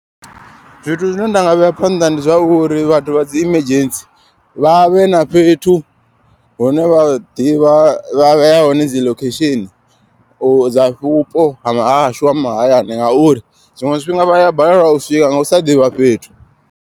Zwithu zwine ndanga vhea phanḓa ndi zwauri vhathu vha dzi emergency. Vha vhe na fhethu hune vha ḓivha vha vhea hone dzi location. Dza vhupo hashu ha mahayani ngauri zwiṅwe zwifhinga vhaya balelwa u swika nga usa ḓivha fhethu.